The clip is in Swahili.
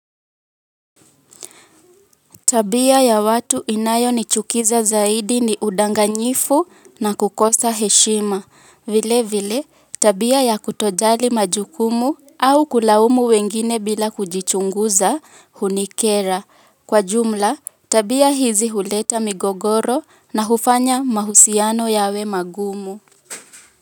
Tabia ya watu inayonichukiza zaidi ni udanganyifu na kukosa heshima. Vile vile tabia ya kutojali majukumu au kulaumu wengine bila kujichunguza hunikera. Kwa jumla tabia hizi huleta migogoro na hufanya mahusiano yawe magumu.